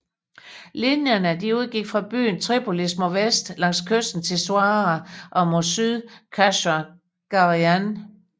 Linjerne udgik fra byen Tripolis mod vest langs kysten til Suara og mod syd til Kasr Gharian